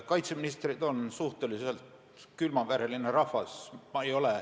Kaitseministrid on suhteliselt külmavereline rahvas.